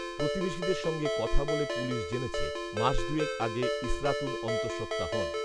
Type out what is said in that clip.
প্রতিবেশীদের সঙ্গে কথা বলে পুলিশ জেনেছে মাস দুয়েক আগে ইসরাতুন অন্তসঃত্ত্বা হন